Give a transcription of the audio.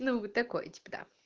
ну вот такой типо да